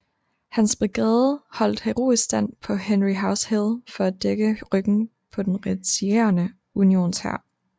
Hans brigade holdt heroisk stand på Henry House Hill for at dække ryggen på den retirerende Unionshær